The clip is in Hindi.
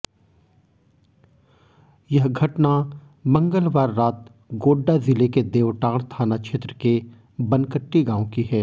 यह घटना मंगलवार रात गोड्डा ज़िले के देवटांड़ थाना क्षेत्र के बनकट्टी गांव की है